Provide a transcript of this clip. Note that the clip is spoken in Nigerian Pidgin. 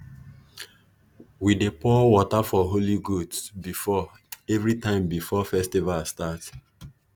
we dey pour water for holy goats before everytime before festival start